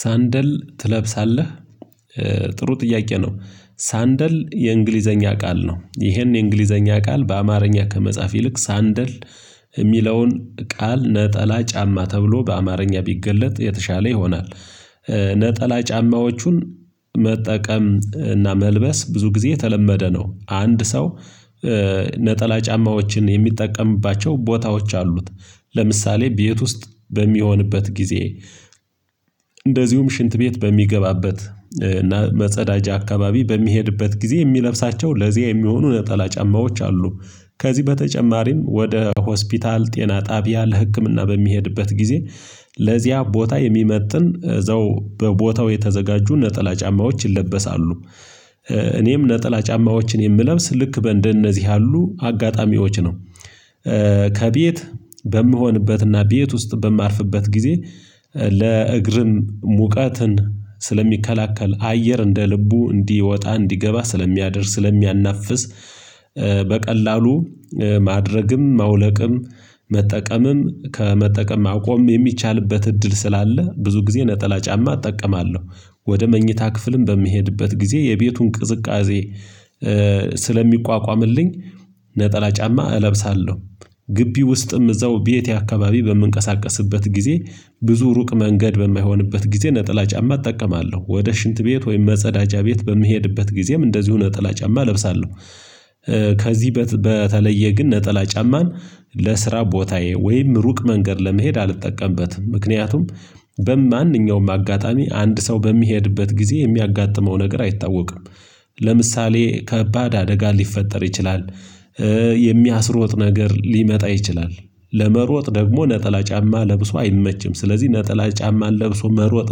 ሰንደል ትለብሳለህ? ጥሩ ጥያቄ ነው ሰንደል የእንግሊዘኛ ቃል ነው ይሄን የእንግሊዘኛ ቃል በአማርኛ ከመጻፍ ይልቅ ሰንደል የሚለውን ቃል ነጠላ ጫማ ተብሎ በአማርኛ ቢገለጥ የተሻለ ይሆናል። ነጠላ ጫማዎቹን መጠቀም እና መልበስ ብዙ ጊዜ የተለመደ ነው። አንድ ሰው ነጠላ ጫማዎችን የሚጠቀምባቸው ቦታዎች አሉት። ለምሳሌ ቤት ውስጥ በሚሆንበት ጊዜ። እንደዚሁም ሽንት ቤት በሚገባበት እና መጸዳጃ አካባቢ በሚሄድበት ጊዜ የሚለብሳቸው ለዚያ የሚሆኑ ነጠላ ጫማዎች አሉ። ከዚህ በተጨማሪም ወደ ሆስፒታል ጤና ጣቢያ ለህክምና በሚሄድበት ጊዜ ለዚያ ቦታ የሚመጥን እዛው በቦታው የተዘጋጁ ነጠላ ጫማዎች ይለበሳሉ። እኔም ነጠላ ጫማዎችን የምለብስ ልክ እንደነዚህ ያሉ አጋጣሚዎች ነው። ከቤት በምሆንበትና ቤት ውስጥ በማርፍበት ጊዜ ለእግርም ሙቀትን ስለሚከላከል አየር እንደ ልቡ እንዲወጣ እንዲገባ ስለሚያደርግ ስለሚያናፍስ። በቀላሉ ማድረግም ማውለቅም መጠቀምም ከመጠቀም ማቆም የሚቻልበት እድል ስላለ ብዙ ጊዜ ነጠላ ጫማ እጠቀማለሁ። ወደ መኝታ ክፍልም በሚሄድበት ጊዜ የቤቱን ቅዝቃዜ ስለሚቋቋምልኝ ነጠላ ጫማ እለብሳለሁ። ግቢ ውስጥም እዛው ቤቴ አካባቢ በምንቀሳቀስበት ጊዜ ብዙ ሩቅ መንገድ በማይሆንበት ጊዜ ነጠላ ጫማ እጠቀማለሁ። ወደ ሽንት ቤት ወይም መጸዳጃ ቤት በምሄድበት ጊዜም እንደዚሁ ነጠላ ጫማ እለብሳለሁ። ከዚህ በተለየ ግን ነጠላ ጫማን ለስራ ቦታዬ ወይም ሩቅ መንገድ ለመሄድ አልጠቀምበትም ምክንያቱም በማንኛውም አጋጣሚ አንድ ሰው በሚሄድበት ጊዜ የሚያጋጥመው ነገር አይታወቅም። ለምሳሌ ከባድ አደጋ ሊፈጠር ይችላል። የሚያስሮጥ ነገር ሊመጣ ይችላል። ለመሮጥ ደግሞ ነጠላ ጫማ ለብሶ አይመችም ስለዚህ ነጠላ ጫማን ለብሶ መሮጥ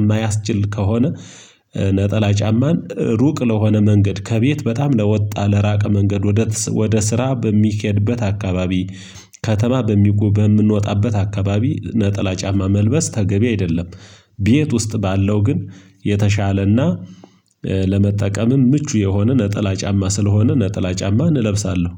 የማያስችል ከሆነ። ነጠላ ጫማን ሩቅ ለሆነ መንገድ ከቤት በጣም ለወጣ ለራቀ መንገድ ወደ ስራ በሚኬድበት አካባቢ ከተማ በምንወጣበት አካባቢ ነጠላ ጫማ መልበስ ተገቢ አይደለም። ቤት ውስጥ ባለው ግን የተሻለና ለመጠቀምም ምቹ የሆነ ነጠላ ጫማ ስለሆነ ነጠላ ጫማ እለብሳለሁ